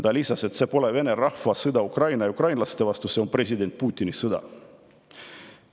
Ta lisas, et see pole Vene rahva sõda Ukraina ja ukrainlaste vastu, vaid see on president Putini sõda.